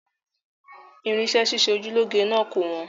Irinṣẹ́ ṣíṣe oju lọ́ge náà kò wọ́n